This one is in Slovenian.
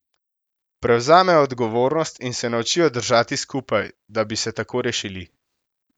Prevzamejo odgovornost in se naučijo držati skupaj, da bi se tako rešili.